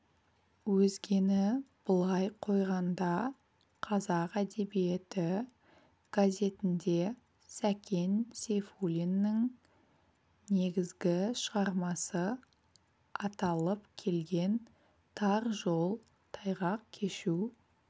өзгені былай қойғанда қазақ әдебиеті газетінде сәкен сейфуллиннің негізгі шығармасы аталып келген тар жол тайғақ кешу